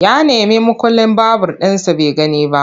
Ya nemi mukullin babur ɗinsa bai gani ba.